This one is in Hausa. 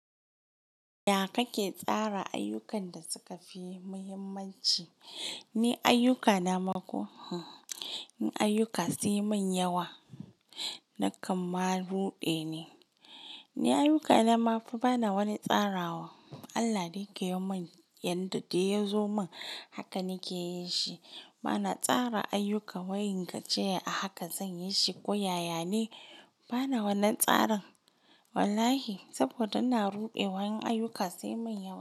Ya kake tsara ayyukan da suka fi muhimmanci? Ni ayyukana ma ko hmm, ayyuka sun yi mun yawa. Na kamma ruɗe ne. Ni ayyukana ma fa bana wani tsarawa. Allah ne ke yi mun yanda da ya zo mun haka nake yi shi. Bana tsara ayyuka wayin gajiyar ahaka zan yi shi ko yaya ne bana wannan tsarin wallahi saboda ina ruɗewa in ayyuka sun yi min yawa.